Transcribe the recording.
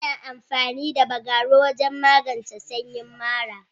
Ana amfani da Bagaruwa wajen magance sanyi mara.